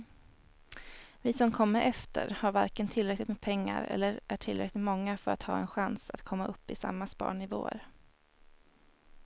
Vi som kommer efter har varken tillräckligt med pengar eller är tillräckligt många för att ha en chans att komma upp i samma sparnivåer.